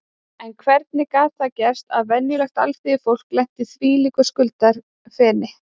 En hvernig gat það gerst að venjulegt alþýðufólk lenti í þvílíku skuldafeni?